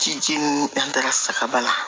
Ciji ninnu danfara saga bana